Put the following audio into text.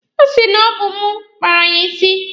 Ọ sị na ọ bụ mụ kpara ya isi.